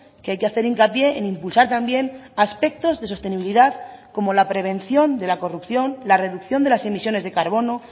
que hay que hacer hincapié en impulsar también aspectos de sostenibilidad como la prevención de la corrupción la reducción de las emisiones de carbono